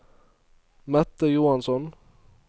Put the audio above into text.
Mette Johansson